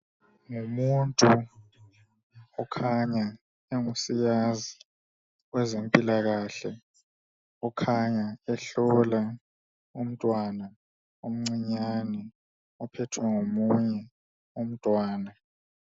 Ngumuntu okhanya engusigazi kwezempilakahle okhanya ehlola umntwana omncinyani ophethwe ngomunye umntwana.